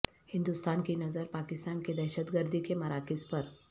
ہندوستان کی نظر پاکستان کے دہشت گردی کے مراکز پر